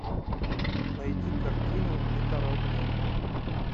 найди картину детородные